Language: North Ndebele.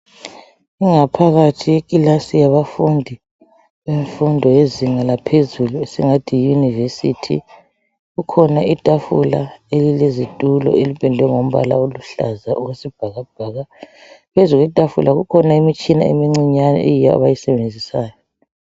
Ingaphakathi yekilasi yabafundi, bemfundo yezinga laphezulu. Esingathi yi university. Kukhona itafula, elilezitulo. Elipendwe ngombala oluhlaza okwesibhakabhaka. Phezu kwetafula, kukhona imitshina emincinyane, eyiyo abayisebenzisayo.